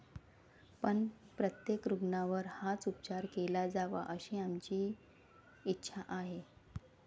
पण, प्रत्येक रुग्णावर हाच उपचार केला जावा अशी आमची इच्छा आहे.